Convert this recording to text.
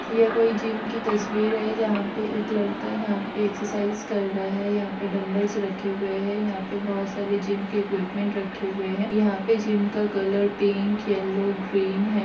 यह कोई जिम की तस्वीर है| जहा पे एक लड्का यहा पे एकसेरसाइज़ कर रहा है | यहा पे दुम्ब्लस रखे हुए है यहा पे बहोत सारे जिम के एकवेपमेंट रखे हुए है यहा पे जिम का कलर पिक येल्लो ग्रीन है।